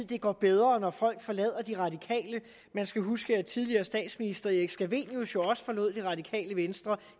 det går bedre når folk forlader de radikale man skal huske at tidligere statsminister erik scavenius jo også forlod det radikale venstre